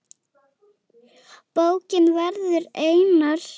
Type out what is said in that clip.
Bókin verður einar